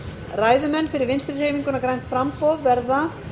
ræðumenn fyrir vinstri hreyfinguna grænt framboð verða